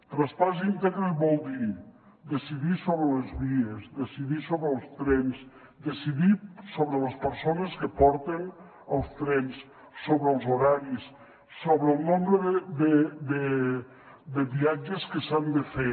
traspàs íntegre vol dir decidir sobre les vies decidir sobre els trens decidir sobre les persones que porten els trens sobre els horaris sobre el nombre de viatges que s’han de fer